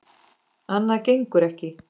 Annað gengur ekki.